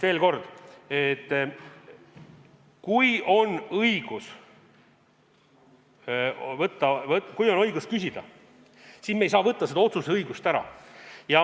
Veel kord: kui on õigus küsida, siis me ei saa võtta seda õigust ära.